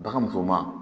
Baganmuso ma